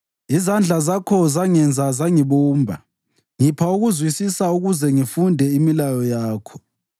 Izandla zakho zangenza zangibumba, ngipha ukuzwisisa ukuze ngifunde imilayo yakho.